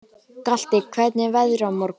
Galti, hvernig er veðrið á morgun?